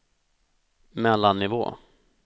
mellannivå